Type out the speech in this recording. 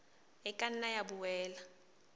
e ka nna ya boela